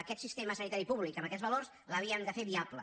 aquest sistema sanitari públic amb aquests valors l’havíem de fer viable